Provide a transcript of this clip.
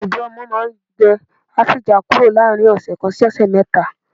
Ìdọ̀ ọmọ máa ń gbẹ á sì já kúrò láàrin ọ̀sẹ̀ kan sí ọ̀sẹ̀ mẹ́ta